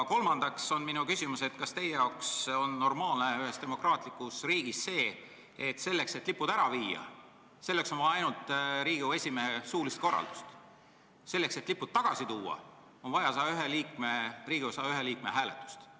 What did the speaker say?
Kas teie arvates on ühes demokraatlikus riigis normaalne, et lippude äraviimiseks piisab Riigikogu esimehe suulisest korraldusest, aga selleks, et lipud tagasi tuua, on vaja Riigikogu 101 liikme hääletust?